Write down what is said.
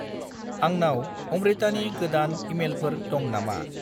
आंनाव अम्रितानि गोदान इमेलफोर दं नामा?